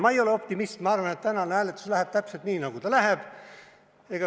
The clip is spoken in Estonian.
Ma ei ole optimist, ma arvan, et tänane hääletus läheb täpselt nii, nagu ta läheb.